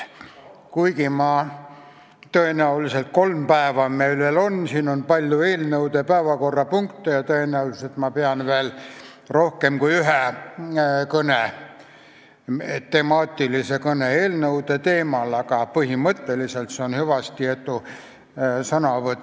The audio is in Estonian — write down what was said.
Kuigi meil on veel kolm päeva – siin on palju eelnõude päevakorrapunkte ja tõenäoliselt ma pean veel rohkem kui ühe temaatilise kõne eelnõude teemal –, on see põhimõtteliselt hüvastijätu sõnavõtt.